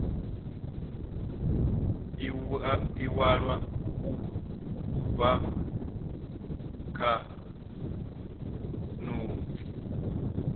iwalwa u bva kha notsi